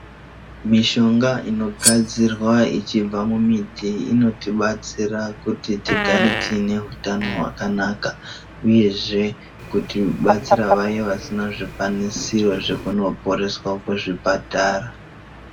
Mishonga inogadzirwa ichibva mumiti inotibatsira kuti tigare tiine utano hwakanaka uyezve kuti batsira vaya vasina zvikwanisiro zvekunoporeswa kuzvipatara.